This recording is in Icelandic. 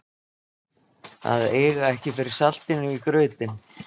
Að eiga ekki fyrir saltinu í grautinn